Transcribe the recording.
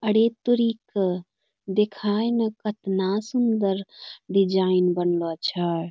अरे तोरी क देखाये न कतना सुन्दर डिजायन बनबा छ।